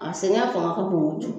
A sɛgɛn fanga ka bon kojugu.